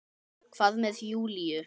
Hvað með Júlíu?